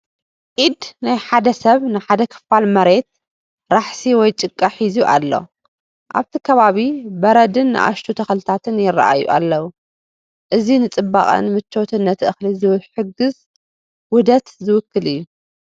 ኢድ ናይ ሓደ ሰብ ንሓደ ክፋል መሬት ራሕሲ ወይ ጭቃ ሒዙ ኣሎ ። ኣብቲ ከባቢ በረድን ንኣሽቱ ተኽልታትን ይረኣዩ ኣለው። እዚ ንጽባቐን መቾትን ነቲ እኽሊ ዝሕግዝ ውሁድ ዝውክል እዩ።